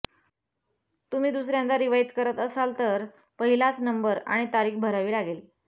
तुम्ही दुसऱ्यांदा रिवाइज करत असाल तर पहिलाच नंबर आणि तारीख भरावी लागेल